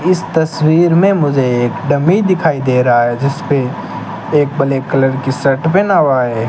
इस तस्वीर में मुझे एक डमी दिखाई दे रहा है जिस पे एक ब्लैक कलर की शर्ट पहना हुआ है।